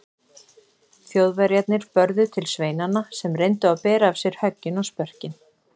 Þjóðverjarnir börðu til sveinanna sem reyndu að bera af sér höggin og spörkin.